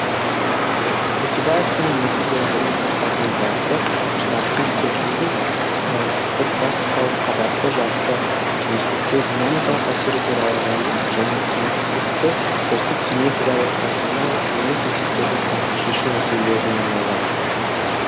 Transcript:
өтебаевтың негізгі ғылыми жұмыстарының бағыты штамптың серпімді тұтқырпластикалық қабатты жарты кеңістікке динамикалық әсері туралы жазық және кеңістікті осьтік симметриялы станционар емес есептерді сандық шешу мәселелеріне арналған